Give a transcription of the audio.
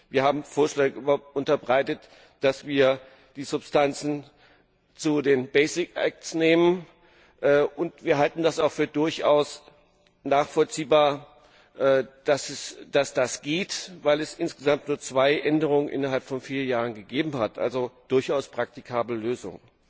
Wir haben Vorschläge unterbreitet, dass wir die Substanzen zu den basic acts nehmen, und wir halten es auch für durchaus nachvollziehbar, dass das geht, weil es insgesamt nur zwei Änderungen innerhalb von vier Jahren gegeben hat. Es ist also eine durchaus praktikable Lösung.